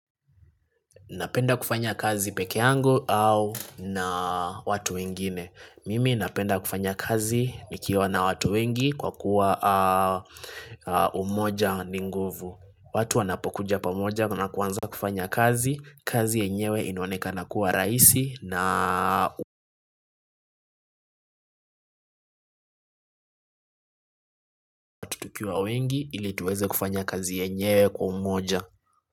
Napenda kufanya kazi peke yangu au na watu wengine. Mimi napenda kufanya kazi nikiwa na watu wengi kwa kuwa umoja ni nguvu. Watu wanapokuja pamoja na kuanza kufanya kazi, kazi yenyewe inonekana kuwa raisi na tukiwa wengi ili tuweze kufanya kazi yenyewe kwa umoja.